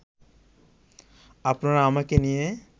আপনারা আমাকে নিয়ে